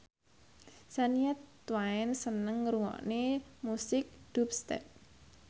Shania Twain seneng ngrungokne musik dubstep